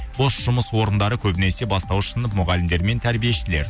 бос жұмыс орындары көбінесе бастауыш сынып мұғалімдері мен тәрбиешілер